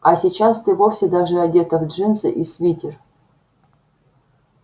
а сейчас ты вовсе даже одета в джинсы и свитер